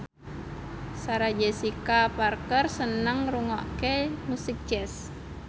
Sarah Jessica Parker seneng ngrungokne musik jazz